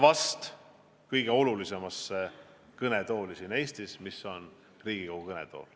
Vahest kõige olulisem kõnetool siin Eestis on Riigikogu kõnetool.